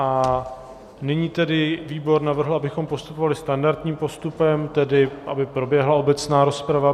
A nyní tedy výbor navrhl, abychom postupovali standardním postupem, tedy, aby proběhla obecná rozprava.